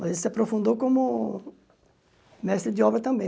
Mas ele se aprofundou como mestre de obra também.